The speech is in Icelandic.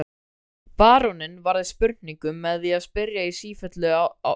Baróninn varðist spurningum með því að spyrja í sífellu sjálfur.